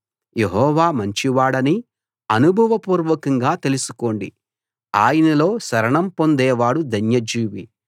యెహోవా మంచివాడని అనుభవపూర్వకంగా తెలుసుకోండి ఆయనలో శరణం పొందేవాడు ధన్యజీవి